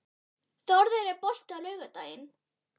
Þórður, er bolti á laugardaginn?